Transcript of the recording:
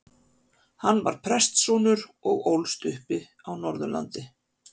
Hann var prestssonur og ólst upp á Norðurlandi.